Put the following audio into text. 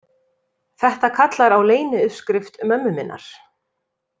Þetta kallar á leyniuppskrift mömmu minnar.